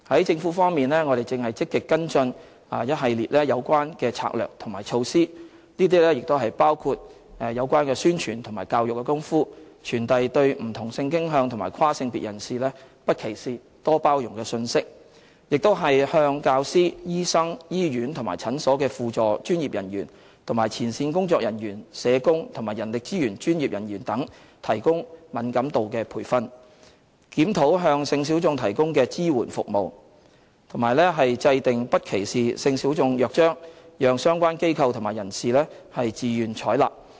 政府方面，我們正積極跟進一系列有關的策略及措施，包括宣傳和教育的工夫，傳遞對不同性傾向及跨性別人士"不歧視、多包容"的信息；向教師、醫生、醫院和診所的輔助專業人員及前線工作人員、社工及人力資源專業人員等提供敏感度培訓；檢討向性小眾提供的支援服務，以及制訂不歧視性小眾約章，讓相關機構及人士自願採納。